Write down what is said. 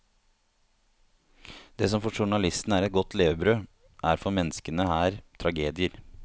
Det som for journalistene er et godt levebrød, er for menneskene her tragedier.